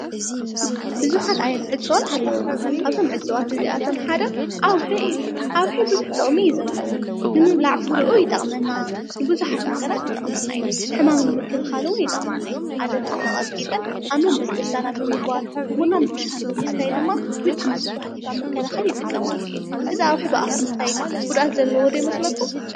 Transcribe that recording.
ብዙሓት ዓይነት ዕፅዋት ኣለዉና። ካብዞም ዕፅዋት እዚኣቶም ሓደ ዓዉሒ እዩ። ዓዉሒ ብዙሕ ጥቅሚ እዩ ዘለዎ ንምብላዕ ፍርኡ ይጠቅመና፣ ንብዙሓት ነገራት ይጠቅመና እዩ፣ ሕማም ንምክልካል እዉን ይጠቅመና እዩ፣ ኣደታትና ቀጥቂጠን ኣብ መንበስበስታና ብምግባር ብቡናን ብሻህን ብምስታይ ድማ ምቺ ንዝበሃል ሕማም መከላከሊ ይጥቀማሉ እየን ።እዚ ዓዉሒ ብኣፍ ምስታይ ግን ጉድኣት ዘለዎ ዶ ይመስለኩም ?